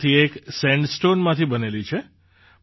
તેમાંથી એક સેન્ડસ્ટૉનમાંથી બનેલી છે